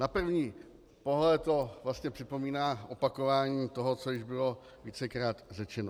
Na první pohled to vlastně připomíná opakování toho, co již bylo vícekrát řečeno.